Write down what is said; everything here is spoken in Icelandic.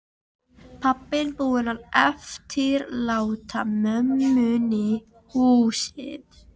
Pabbinn búinn að eftirláta mömmunni húsið.